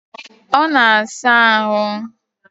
Ọ na saa ahụ